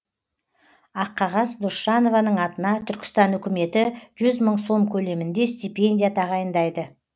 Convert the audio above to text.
аққағаз досжанованың атына түркістан үкіметі жүз мың сом көлемінде стипендия тағайындайды